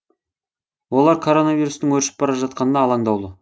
олар коронавирустың өршіп бара жатқанына алаңдаулы